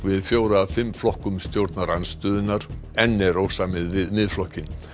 við fjóra af fimm flokkum stjórnarandstöðunnar enn er ósamið við Miðflokkinn